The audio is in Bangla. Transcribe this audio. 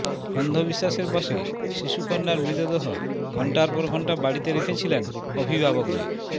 অন্ধবিশ্বাসের বশে শিশুকন্যার মৃতদেহ ঘণ্টার পর ঘণ্টা বাড়িতে রেখেছিলেন অভিভাবকরা